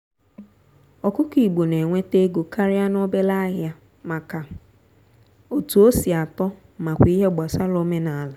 ọkụkọ igbo na-enwete ego karịa n'obele ahịa maka etu osi atọ makwa ihe gbasara omenala.